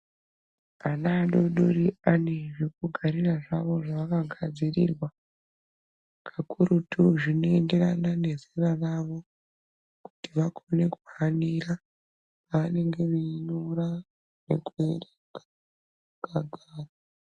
Ana adodori vane zvavo zvekugarira zvavakagadzirirwa pakurutu zvinoyenderana nezera ravo kuti vakone kuhanira pavanenge veinyora nekuerenga vakagara.